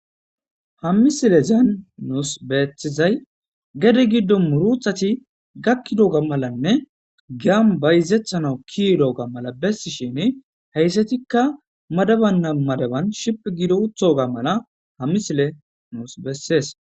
Ha misilezan nusi bettizay gade giddon murutati gakidoga malane giyan bayizetanaw kiyidoga mala besishin heyssatika madaban madaban shiphi gidi uttoga mala ha misile nus besses.